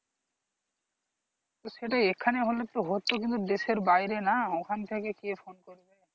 সেটা এখানে হলে তো হতো কিন্তু দেশের বাইরে না ওখান থেকে কে phone করবে।